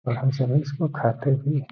और हम सभी इस को खाते भी है।